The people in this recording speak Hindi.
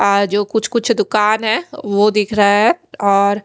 आ जो कुछ कुछ दूकान है वो दिख रहा है और--